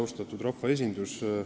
Austatud rahvaesindus!